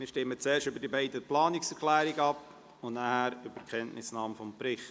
Wir stimmen zuerst über die beiden Planungserklärungen ab und danach über die Kenntnisnahme des Berichts.